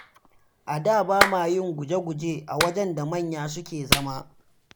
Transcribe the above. A da bama yin guje-guje a wajen da manya suke zama.